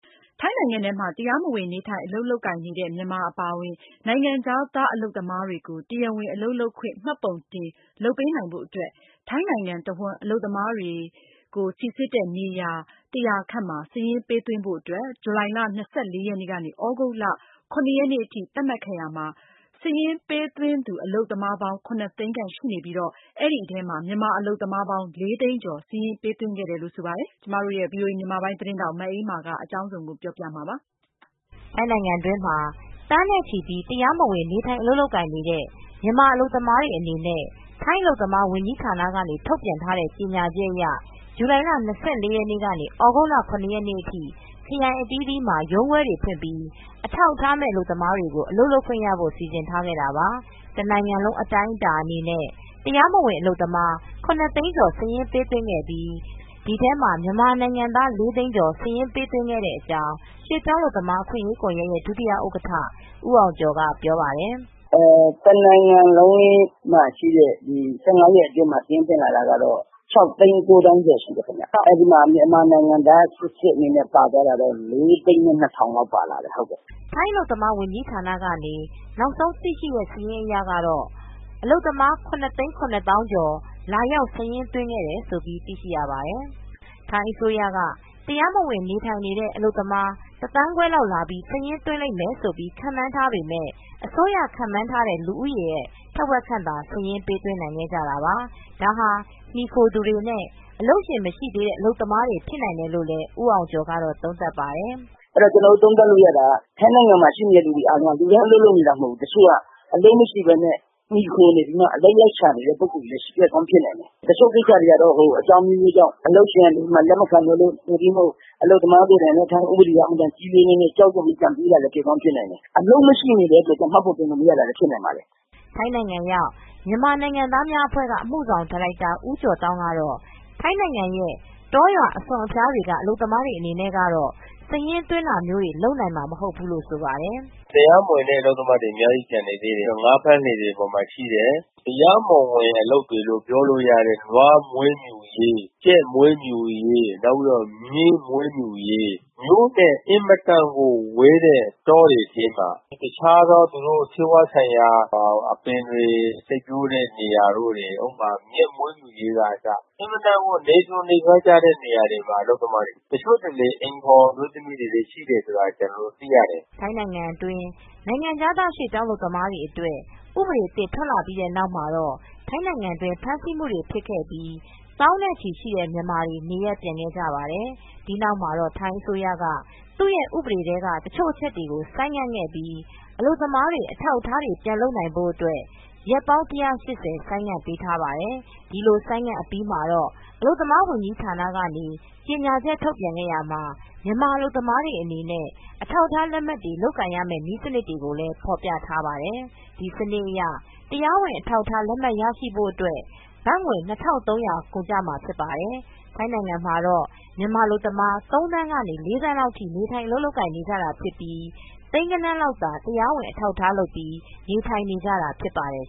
ထိုင်းနိုင်ငံထဲမှာ တရားမဝင် နေထိုင် အလုပ်လုပ်ကိုင်နေတဲ့ မြန်မာ အပါအဝင် နိုင်ငံခြားသား အလုပ်သမားတွေကို တရားဝင် အလုပ်လုပ်ခွင့် မှတ်ပုံတင် လုပ်ပေးနိုင်ဖို့ အတွက် ထိုင်းနိုင်ငံတဝှမ်း အလုပ်သမားတွေ အတွက် စိစစ်တဲ့ နေရာ ၁၀၀ ခန့်မှာ စာရင်းပေးသွင်းဖို့ အတွက် ဇူလိုင်လ ၂၄ ရက်နေ့ ကနေ သြဂုတ်လ ၇ ရက်နေ့အထိ သတ်မှတ်ခဲ့ရာမှာ စာရင်းပေးသွင်းသူ အလုပ်သမား ၇ သိန်းခန့်ရှိပြီး ဒီထဲမှာ မြန်မာအလုပ်သမား ၄ သိန်းကျော် စာရင်းပေးသွင်းခဲ့တယ်လို့ ဆိုပါတယ်။ မအေးအေးမာက သတင်းပေးပို့ ထားပါတယ်။ ထိုင်းနိုင်ငံတွင်းမှာ သန်းနဲ့ချီပြီး တရားမဝင် နေထိုင် အလုပ်လုပ်ကိုင်နေကြတဲ့ မြန်မာအလုပ်သမားတွေ အနေနဲ့ ထိုင်းအလုပ်သမားရေး ဝန်ကြီးဌာနကနေ ထုတ်ပြန်ထားတဲ့ ကြေညာချက်အရ ဇူလိုင်လ ၂၄ ရက်နေ့ကနေ သြဂုတ်လ ၇ ရက်နေ့အထိ ခရိုင်အသီးသီးမှာ ရုံးခွဲတွေ ဖွင့်ပြီး အထောက်အထားမဲ့ အလုပ်သမားတွေကို အလုပ်လုပ်ခွင့်ရဖို့ စီစဉ်ထားခဲ့တာပါ။ တနိုင်ငံလုံး အတိုင်းအတာနဲ့ တရားမဝင် အလုပ်သမား ၇ သိန်းခန့် စာရင်းပေးသွင်းပြီး ဒီထဲမှာ မြန်မာနိုင်ငံသား ၄ သိန်းကျော် စာရင်းပေးသွင်းခဲ့တဲ့ အကြောင်း ရွှေ့ပြောင်းအလုပ်သမား အခွင့်အရေးကွန်ယက်ရဲ့ဒုဥက္ကဌ ဦးအောင်ကျော်က ပြောပါတယ်။ “ တနိုင်ငံလုံးမှာရှိတဲ့ ဒီ ရက် အတွင်းမှာ စာရင်းသွင်းလာတာ ကတော့ ၆ သိန်း ၉ သောင်းကျော် ရှိတယ်ခင်ဗျ။ အဲဒီမှာ မြန်မာနိုင်ငံသား စစ်စစ် ၄ သိန်းနဲ့ ၂ ထောင်လောက် ပါလာတယ်။ ဟုတ်ကဲ့။” ထိုင်းအစိုးရက တရားမဝင် နေထိုင်နေတဲ့ အလုပ်သမား တသန်းခွဲလောက် လာပြီး စာရင်းသွင်းလိမ့်မယ်လိ့ု ခန့်မှန်းထားပေမဲ့ အစိုးရ ခန့်မှန်းထားတဲ့ လူဦးရေ ထက်ဝက်ခန့်သာ စာရင်းပေးသွင်းနိုင်တာပါ။ဒါဟာ မှီခိုသူတွေနဲ့ အလုပ်ရှင်တွေ မရှိတဲ့ အလုပ်သမားတွေ ဖြစ်နိုင်တယ်လို့ ဦးအောင်ကျော်ကတော့ သုံးသပ်ပါတယ်။ အဲတော့ ကျနော်တို့ သုံးသပ်လို့ ရတာက ထိုင်းနိုင်ငံမှာ ရှိနေတဲ့သူ အားလုံးမှာ လူတိုင်း အလုပ်လုပ်နေတာ မဟုတ်ဘူး။ တချို့က အလုပ်မရှိဘဲ မှီခိုနေပြီးမှ အလုပ်လိုက်ရှာနေတဲ့ပုဂ္ဂိုလ်တွေလည်း ဖြစ်ကောင်းဖြစ်နိုင်တယ်။ တချို့ကိစ္စတွေကတော့ အကြောင်းအမျိုးမျိုးကြောင့် အလုပ်ရှင်ကလက်မခံတာ၊ သို့တည်းမဟုတ် အလုပ်သမားအနေနဲ့ ထိုင်းဥပဒေက အင်မတန်ကြီးလေးတဲ့အတွက် ကြောက်ရွံ့ပြီး ပြန်ပြေးလာတာ ဖြစ်ကောင်း ဖြစ်နိုင်တယ်။ အလုပ်ရှိမနေတဲ့ အတွက် မှတ်ပုံတင်လို့ မရတာလည်း ဖြစ်ကောင်းဖြစ်နိုင်ပါတယ်။ ထိုင်းနိုင်ငံရောက်မြန်မာနိုင်ငံသားများအဖွဲက အမူဆောင်ဒါရိုက်တာဦးကျော်သောင်းကတော့ ထိုင်းနိုင်ငံရဲ့တောရွာ အစွန်အဖျားတွေက အလုပ်သမားတွေ အနေနဲ့ ကတော့ စာရင်းသွင်းတာမျိုးတွေ လုပ်နိုင်မှာ မဟုတ်ဘူးလို့ဆိုပါတယ်။ “ တရားမဝင်တဲ့ အလုပ်သမားတွေ အများကြီး ကျန်နေသေးတယ်။ ငါးဖမ်းလှေတွေ အပေါ်မှာရှိတယ်။ တရားမဝင် အလုပ်တွေလို့ ပြောလို့ရတဲ့ နွားမွေးမြူရေး၊ ကြက်မွေးမြူရေး နောက်ပြီးတော့ မြင်းမွေးမြူရေး၊ မြို့နဲ့ အင်မတန်ကိုဝေးတဲ့ တောတွေထဲမှာ တခြား ဆေးဝါးဆိုင်ရာ အပင်တွေ စိုက်ပျိုးတဲ့ နေရာတို့တွေ၊ ဥပမာ မြက်မွေးမြူရေးက အစ အင်မတန် ကို နယ်စွန်နယ်ဖျားကျတဲ့ နေရာတွေမှာ အလုပ်သမားတွေ၊ တချို့တလေ အိမ်ဖေါ် အမျိုးသမီးတွေလည်းရှိတယ်ဆိုတာ ကျနော်တို့ သိရတယ်။” ထိုင်းနိုင်ငံအတွင်း နိုင်ငံခြားသား ရွှေ့ပြောင်း အလုပ်သမားများ အတွက် ဥပဒေအသစ် ထွက်လာပြီးတဲ့ နောက်မှာတော့ ထိုင်းနိုင်ငံတွင်း ဖမ်းဆီးမူတွေ ဖြစ်ခဲ့ပြီး သောင်းနဲ့ချီရှိတဲ့ မြန်မာတွေ နေရပ်ပြန်ခဲ့ကြပါတယ်။ ဒီနောက်မှာတော့ ထိုင်းအစိုးရကနေ သူ့ရဲ့ ဥပဒေထဲက တချို့အချက်တွေကို ဆိုင်းငံ့ခဲ့ပြီး အလုပ်သမားတွေ အထောက်အထားတွေ ပြန်လုပ်နိုင်ဖို့ အတွက် ရက်ပေါင်း ၁၈၀ ဆိုင်ငံ့ပေးထားပါတယ်။ ဒီလို ဆိုင်းငံ့အပြီးမှာတော့ အလုပ်သမားဝန်ကြီးဌာန ကနေ ကြေညာချက်ထုတ်ပြန်ရာမှာ မြန်မာအလုပ်သမားတွေ အနေနဲ့ အထောက်အထား လက်မှတ်တွေ လုပ်ကိုင်ရမဲ့ နည်းစနစ်တွေကို ဖော်ပြထားတာပါ။ ဒီစနစ်အရ တရားဝင် အထောက်အထား လက်မှတ်ရရှိဖို့ အတွက် ဘတ်ငွေ ၂၃၀၀ ကုန်ကျမှာ ဖြစ်ပါတယ်။ ထိုင်းနိုင်ငံမှာတော့ မြန်မာအလုပ်သမား ၃ သန်းကနေ၄ သန်း လောက်ထိ နေထိုင် အလုပ်လုပ်ကိုင်နေကြတာ ဖြစ်ပြီး သိန်းဂဏန်းလောက်သာ တရားဝင် အထောက်အထား လုပ်ပြီး နေထိုင်နေကြတာ ဖြစ်ပါတယ်